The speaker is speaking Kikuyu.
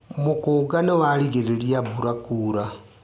Mũkũnga nĩwarigĩrĩria mbura kuura.